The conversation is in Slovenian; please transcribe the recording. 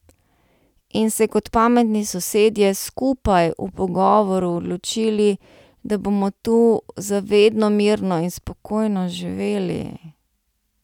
In se kot pametni sosedje, skupaj, v pogovoru, odločili, da bomo tu za vedno mirno in spokojno živeli.